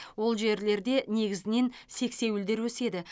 ол жерлерде негізінен сексеуілдер өседі